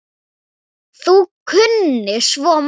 Þú kunnir svo margt.